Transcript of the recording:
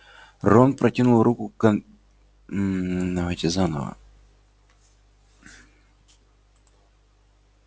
рон протянул к конверту дрожащую руку вынул его из клюва совы и распечатал